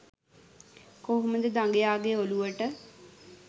කොහොමද දඟයාගේ ඔලුවට